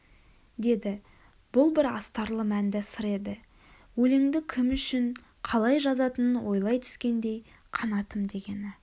деді бұл бір астарлы мәнді сыр еді өленді кім үшін қалай жазатынын ойлай түскендей қанатым дегені